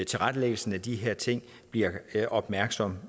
tilrettelæggelsen af de her ting bliver opmærksom